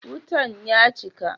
Wutan ya cika?